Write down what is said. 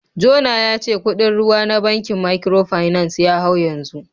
Jona ya ce kudin ruwa na bankin Microfinance ya hau yanzu